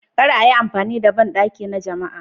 Kar a yi amfani da bandaki na jama'a.